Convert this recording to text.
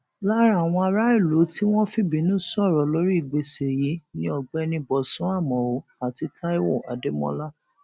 lára àwọn aráàlú tí wọn fìbínú sọrọ lórí ìgbésẹ yìí ni ọgbẹni bosun àmọọ àti taiwo adémọlá